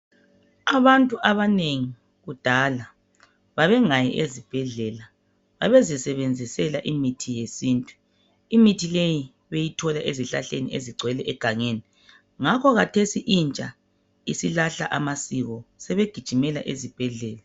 Abantu abanengi kudala babengayi ezibhedlela, babezisebenzisela imithi yesintu. Imithi leyi beyithola ezihlahleni ezigcwele egangeni ngakho kathesi intsha isilahla amasiko. Sebegijimela ezibhedlela.